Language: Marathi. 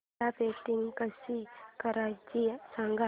मला पेंटिंग कसं करायचं सांग